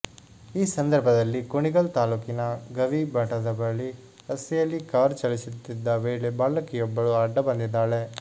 ಈ ಸಂದರ್ಭದಲ್ಲಿ ಕುಣಿಗಲ್ ತಾಲೂಕಿನ ಗವಿ ಮಠದ ಬಳಿ ರಸ್ತೆಯಲ್ಲಿ ಕಾರ್ ಚಲಿಸುತ್ತಿದ್ದ ವೇಳೆ ಬಾಲಕಿಯೊಬ್ಬಳು ಅಡ್ಡ ಬಂದಿದ್ದಾಳೆ